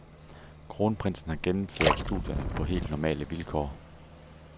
Kronprinsen har gennemført studierne på helt normale vilkår.